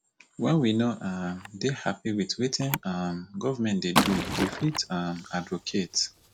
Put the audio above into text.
when we no um take happy with wetin um governement dey do we fit um advocate